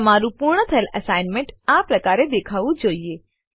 તમારું પૂર્ણ થયેલ એસાઈનમેંટ આ પ્રકારે દેખાવું જોઈએ